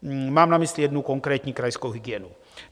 Mám na mysli jednu konkrétní krajskou hygienu.